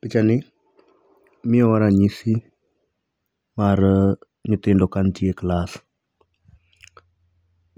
Pichani miyo wa ranyisi mar nyithindo ka nitie klas,